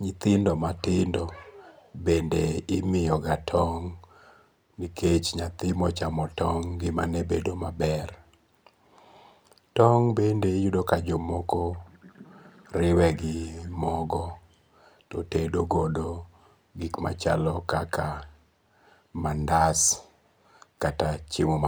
nyithindo matindo bende imiyoga tong' nikech nyathima ochamo tong ngi'mane bedo maber. Tong' bende iyudo ka jomoko bende riwe gi mogo to otedo godo gik machalo kaka mandas kata chiemo